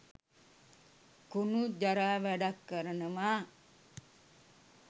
කුනු ජරා වැඩක් කරනවා